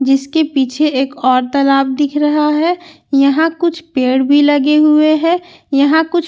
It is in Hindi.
जिसके पीछे एक और तालाब दिख रहा है यहां कुछ पेड़ भी लगे हुए है यहां कुछ--